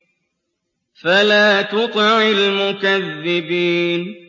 فَلَا تُطِعِ الْمُكَذِّبِينَ